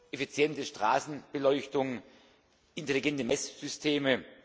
effiziente Straßenbeleuchtung, intelligente Messsysteme.